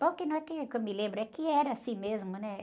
Bom, que, não é que, que eu me lembro, é que era assim mesmo, né?